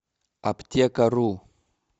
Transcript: аптекару